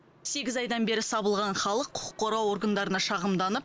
сегіз айдан бері сабылған халық құқық қорғау органдарына шағымданып